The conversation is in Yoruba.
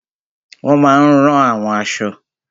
Wọ́n máa n rán àwọn aṣọ